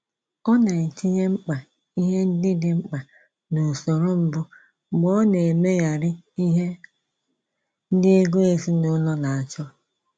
Ọ na-etinye mkpa ihe ndị dị mkpa n’usoro mbụ mgbe ọ na-emegharị ihe ndị ego ezinụlọ na-achọ.